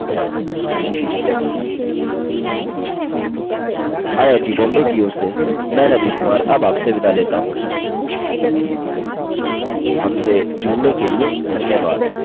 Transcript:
I I T Bombay की ओर से मैं रवि कुमार अब आपसे विदा लेता हूँ हमसे जुड़ने के लिए धन्यवाद